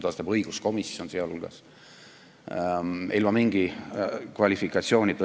Ja seda teeb ka õiguskomisjon, sealjuures ilma mingi õigusliku kvalifikatsioonita.